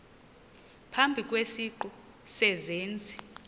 phambi kwesiqu sezenzi